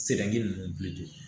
Sɛbɛnni ninnu